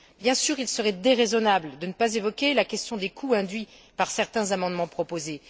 Bien sûr, il serait déraisonnable de ne pas évoquer la question des coûts induits par certains amendements proposés.